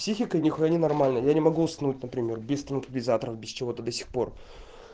психика ни хуя не нормальная я не могу уснуть например без транквилизаторов без чего то до сих пор